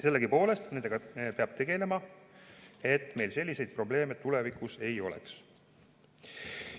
Sellegipoolest peab nendega tegelema, et meil tulevikus selliseid probleeme ei oleks.